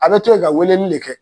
A tBɛɛɛ ka wele de kɛ